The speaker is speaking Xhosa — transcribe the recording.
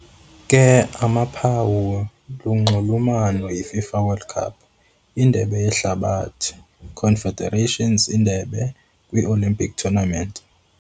ke, amaphawu lunxulumano yi - FIFA World Cup- Indebe Yehlabathi, Confederations Indebe, kwi-olimpiki tournament.